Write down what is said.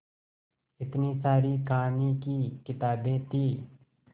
इतनी सारी कहानी की किताबें थीं